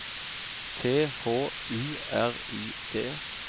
T H U R I D